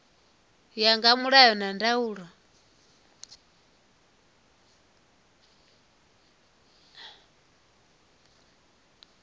ya nga mulayo na ndaulo